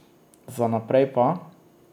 Za naprej pa ...